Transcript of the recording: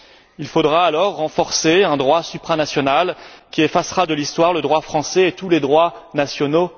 Il faudra alors renforcer un droit supranational, qui, à terme, effacera de l'histoire le droit français et tous les droits nationaux.